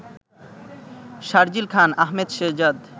Sharjeel Khan, Ahmed Shehzad